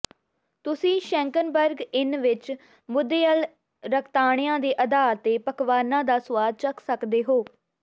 ਤੁਸੀਂ ਸ਼ੈਂਕਨਬਰਗ ਇਨ ਵਿਚ ਮੱਧਯੁਅਲ ਰਕਤਾਣਿਆਂ ਦੇ ਆਧਾਰ ਤੇ ਪਕਵਾਨਾਂ ਦਾ ਸੁਆਦ ਚੱਖ ਸਕਦੇ ਹੋ